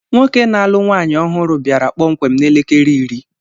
Nwoke na-alụ nwaanyị ọhụrụ bịara kpọmkwem n'elekere iri.